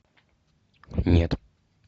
нет